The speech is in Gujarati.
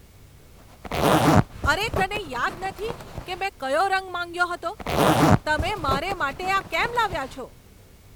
અરે, તને યાદ નથી કે મેં કયો રંગ માંગ્યો હતો? તમે મારે માટે આ કેમ લાવ્યા છો?